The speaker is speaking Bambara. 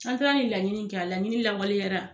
An taala ni laɲini kɛ , a laɲini lawaleyara.